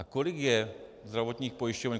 A kolik je zdravotních pojišťoven?